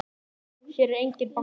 Hér er enginn banki!